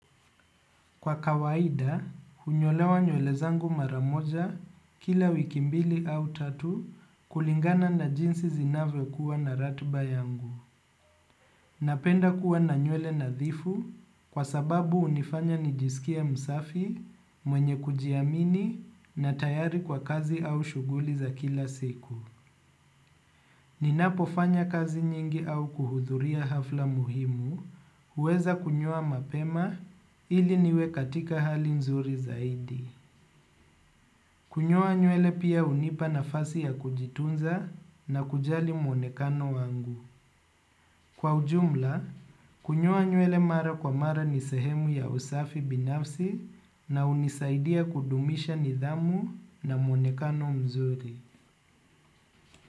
Kwa kawaida, hunyolewa nywele zangu mara moja kila wiki mbili au tatu kulingana na jinsi zinavyo kuwa na ratba yangu. Napenda kuwa na nywele nadhifu kwa sababu hunifanya nijisikie msafi, mwenye kujiamini na tayari kwa kazi au shuguli za kila siku. Ninapo fanya kazi nyingi au kuhudhuria hafla muhimu, uweza kunyoa mapema ili niwe katika hali nzuri zaidi. Kunyoa nywele pia hunipa nafasi ya kujitunza na kujali muonekano wangu. Kwa ujumla, kunyoa nywele mara kwa mara ni sehemu ya usafi binafsi na hunisaidia kudumisha nidhamu na muonekano mzuri.